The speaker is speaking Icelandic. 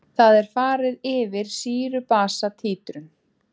Þar er farið yfir sýru-basa títrun.